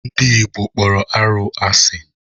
Ndị Igbo kpọrọ arụ asị.